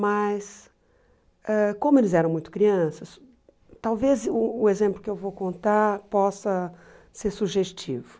Mas, ãh como eles eram muito crianças, talvez o exemplo que eu vou contar possa ser sugestivo.